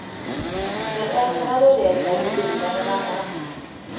Med ändrade regler blir bilden en annan.